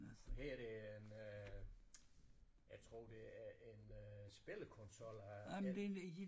Her det en øh jeg tror det er en øh spillekonsol af en